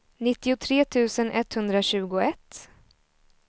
nittiotre tusen etthundratjugoett